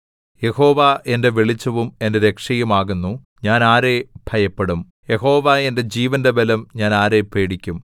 യഹോവ എന്റെ വെളിച്ചവും എന്റെ രക്ഷയും ആകുന്നു ഞാൻ ആരെ ഭയപ്പെടും യഹോവ എന്റെ ജീവന്റെ ബലം ഞാൻ ആരെ പേടിക്കും